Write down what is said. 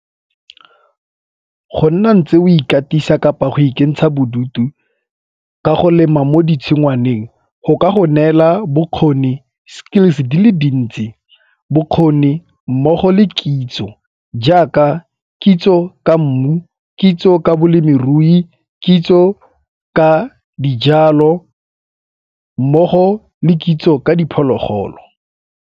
Go nna ntse o ikatisa kapa go ikentsha bodutu ka go lema mo ditshingwaneng go ka go neela bokgoni, skills di le dintsi, bokgoni mmogo le kitso jaaka kitso ka mmu, kitso ka bolemirui, kitso ka dijalo mmogo le kitso ka diphologolo.